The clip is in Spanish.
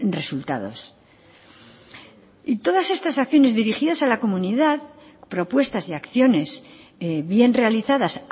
resultados y todas estas acciones dirigidas a la comunidad propuestas y acciones bien realizadas